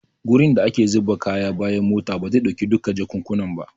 Gurin da ake zuba kaya a bayan mota bazai dauki duka jakukkunan ba.